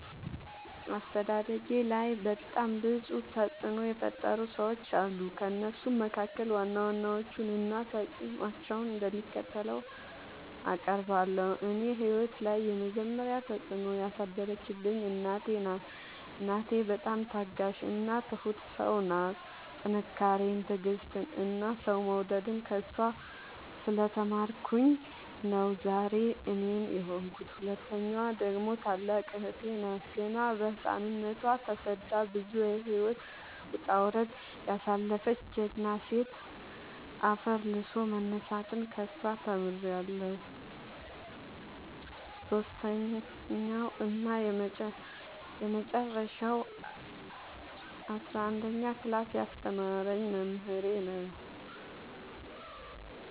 አስተዳደጌላይ በጣም ብዙ ተፅዕኖ የፈጠሩ ሰዎች አሉ። ከእነሱም መካከል ዋና ዋናዎቹን እና ተፅዕኖቸው እንደሚከተለው አቀርባለሁ። እኔ ህይወት ላይ የመጀመሪ ተፅዕኖ ያሳደረችብኝ እናቴ ናት። እናቴ በጣም ታጋሽ እና ትሁት ሰው ናት ጥንካሬን ትዕግስትን እና ሰው መውደድን ከእሷ ስለ ተማርኩኝ ነው ዛሬ እኔን የሆንኩት። ሁለተኛዋ ደግሞ ታላቅ እህቴ ናት ገና በህፃንነቶ ተሰዳ ብዙ የህይወት ወጣውረድ ያሳለፈች ጀግና ሴት አፈር ልሶ መነሳትን ከሷ ተምሬለሁ። ሰሶስተኛው እና የመጀረሻው አስረአንደኛ ክላስ ያስተማረኝ መምህሬ ነው።